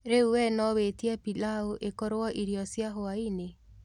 Rĩu we no wĩĩtĩe pĩlau ĩkorwo ĩrĩo cĩa hwaĩnĩ